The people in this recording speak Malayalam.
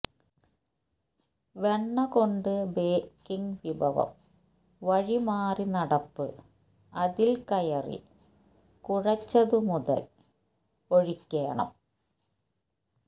വെണ്ണ കൊണ്ട് ബേക്കിംഗ് വിഭവം വഴിമാറിനടപ്പ് അതിൽ കയറി കുഴെച്ചതുമുതൽ ഒഴിക്കേണം